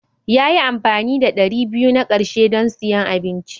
Ya yi amfani da ɗari biyu na ƙarshe don siyan abinci.